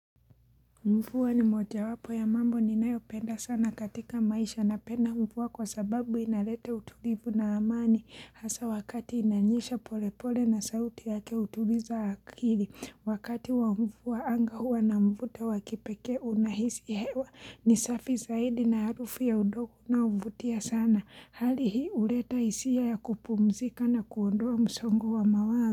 Mvua ni moja wapo ya mambo ni nayo penda sana katika maisha napenda mvua kwa sababu inaleta utulivu na amani hasa wakati inanyieha polepole na sauti yake hutuliza akili. Wakati wa mvua anga huwa na mvuto wakipekee unahisi hewa ni safi zaidi na harufu ya udongo unaouvutia sana. Hali hii huleta isia ya kupumzika na kuondoa msongo wa mawazo.